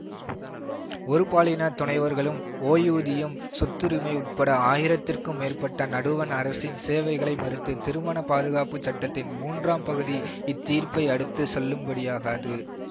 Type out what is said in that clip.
ஒருபாலின துணைவர்களும் ஓய்வூதியம் சொத்துரிமை உட்பட்ட ஆயிரத்துக்கும் மேற்பட்ட நடுவண் அரசின் சேவைகளை மறுத்த திருமண பாதுகாப்பு சட்டத்தின் மூன்றாம் பகுதி இத் தீர்ப்பை அடுத்து செல்லுபடியாகாது